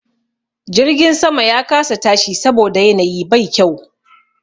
Jirgin sama ya kasa tashi saboda yanayi bai kyau.